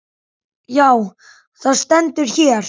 Já, það stendur hér.